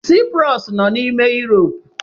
Cyprus nọ n'ime Iirop.